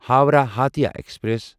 Howrah Hatia express